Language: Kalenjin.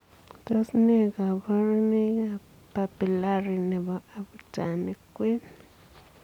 Tos ne kabarunoikap papilari nepo abutanik kween?